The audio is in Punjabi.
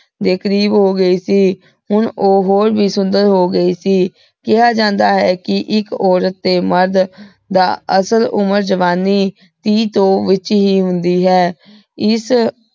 ਦੇ ਕਰੀਬ ਹੋਗੀ ਸੀਹੁਣ ਊ ਹੋਰ ਵੀ ਸੁੰਦਰ ਹੋ ਗਈ ਸੀ। ਕੇਹਾ ਜਾਂਦਾ ਹੈ ਕੇ ਇਕ ਔਰਤ ਤੇ ਮਰਦਮ ਦਾ ਅਸਲ ਉਮਰ ਜਵਾਨੀ ਟੀ ਤੋਂ ਵਿਚ ਹੀ ਹੁੰਦੀ ਹੈ। ਏਸ